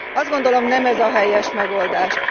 Azt gondolom, nem ez a helyes megoldás.